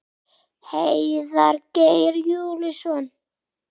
Heiðar Geir Júlíusson.